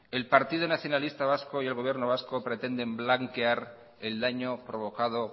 el partido nacionalista vasco y el gobierno vasco pretenden blanquear el daño provocado